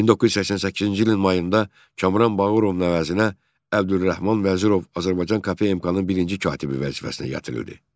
1988-ci ilin mayında Kamran Bağırovun əvəzinə Əbdülrəhman Vəzirov Azərbaycan KP MK-nın birinci katibi vəzifəsinə gətirildi.